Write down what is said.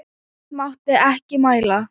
Björn mátti ekki mæla.